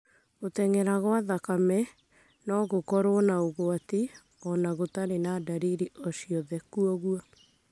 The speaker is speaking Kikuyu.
Gũtenyera kwa thakame no gũkorũo na ũgwati o na gũtarĩ na dariri o ciothe, kwoguo